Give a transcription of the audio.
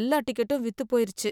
எல்லா டிக்கெட்டும் வித்து போயிருச்சு.